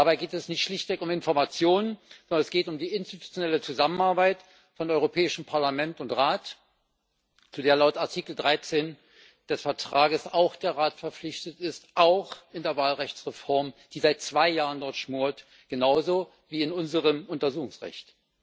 Dabei geht es nicht schlichtweg um Informationen, sondern es geht um die institutionelle Zusammenarbeit von Europäischem Parlament und Rat, zu der laut Artikel 13 des Vertrages auch der Rat verpflichtet ist, auch bei der Wahlrechtsreform, die seit zwei Jahren dort schmort, genauso wie bei unserem Untersuchungsrecht.